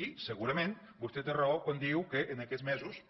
i segurament vostè té raó quan diu que en aquests mesos